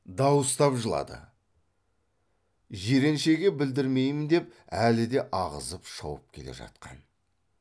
дауыстап жылады жиреншеге білдірмеймін деп әлі де ағызып шауып келе жатқан